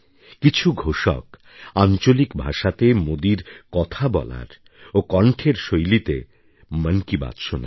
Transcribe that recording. কিছু ঘোষক আঞ্চলিক ভাষাতে মোদীর কথা বলার ও কণ্ঠের শৈলীতে মন কি বাত শোনায়